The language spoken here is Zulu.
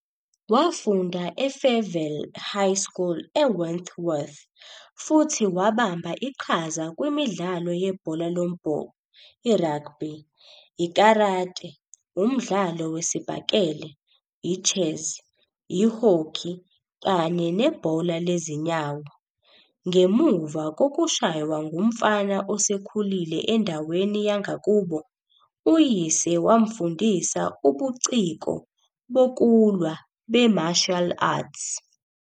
Wafunda e-Fairvale High School eWentworth futhi wabamba iqhaza kwimidlalo yebhola lombhoxo, iragbi, i-karate, umdlalo wesibhakele, i-chess, i-hockey kanye nebhola lezinyawo. Ngemuva kokushaywa ngumfana osekhulile endaweni yangakubo, uyise wamfundisa ubuciko bokulwa be-martial arts.